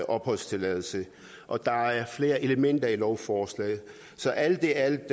opholdstilladelse og der er flere elementer i lovforslaget så alt i alt